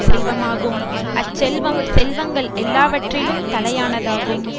செல்வமாகும் அச் செல்வம் செல்வங்கள் எல்லாவற்றிலும் தலையானதாகும்